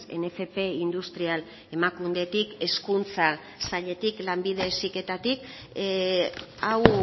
en fp industrial emakundetik hezkuntza sailetik lanbide heziketatik hau